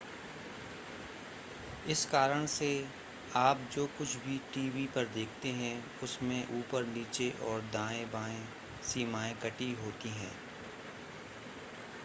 इस कारण से आप जो कुछ भी टीवी पर देखते हैं उसमें ऊपर नीचे और दाएं-बाएं सीमाएं कटी होती हैं